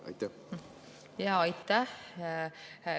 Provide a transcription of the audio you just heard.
Aitäh!